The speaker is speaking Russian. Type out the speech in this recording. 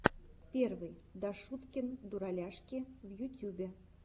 первый дашуткин дураляшки в ютюбе